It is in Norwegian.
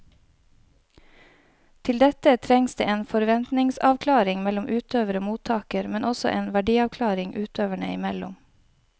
Til dette trengs det en forventningsavklaring mellom utøver og mottaker, men også en verdiavklaring utøverne imellom.